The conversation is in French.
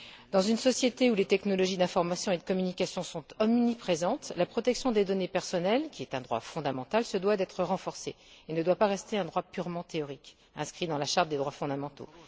Dans une société où les technologies de l'information et de communication sont omniprésentes, la protection des données personnelles, qui est un droit fondamental, doit être renforcée et ne doit pas rester un droit purement théorique inscrit dans la Charte des droits fondamentaux.